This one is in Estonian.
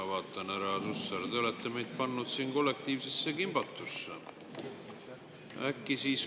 Ma vaatan, härra Hussar, te olete meid pannud siin kollektiivsesse kimbatusse.